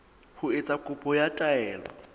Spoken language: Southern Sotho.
ho etsa kopo ya taelo